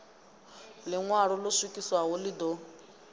ḽiṋwalo ḽo swikiswaho ḽi ḓo